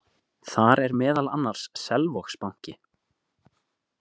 Þar er meðal annars Selvogsbanki.